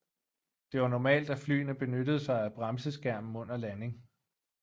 Det var normalt at flyene benyttede sig af bremseskærmen under landing